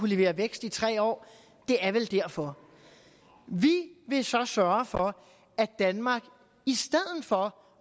levere vækst i tre år det er vel derfor vi vil så sørge for at danmark i stedet for